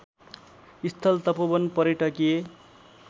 स्थल तपोवन पर्यटकीय